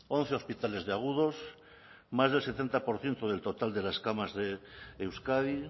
once hospitales de agudos más del setenta por ciento del total de las camas de euskadi